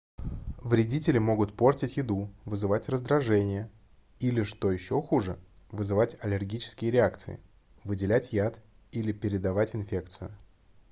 вредители могут портить еду вызывать раздражение или что ещё хуже вызывать аллергические реакции выделять яд или передавать инфекцию